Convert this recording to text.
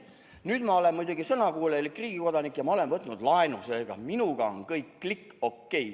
Nüüd ma olen muidugi sõnakuulelik riigi kodanik ja ma olen võtnud laenu, seega minuga on kõik click OK.